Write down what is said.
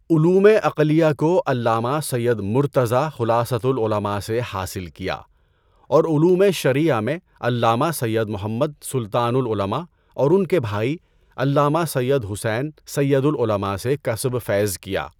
علوم عقلیہ کو علامہ سید مرتضی خُلاصۃُ العلماء سے حاصل کیا اور علوم شرعیہ میں علامہ سید محمد سلطانُ العلماء اور ان کے بھائی علامہ سید حسین سیدُ العلماء سے کسب فیض کیا۔